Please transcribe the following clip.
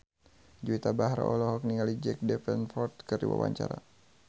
Juwita Bahar olohok ningali Jack Davenport keur diwawancara